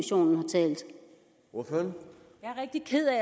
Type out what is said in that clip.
med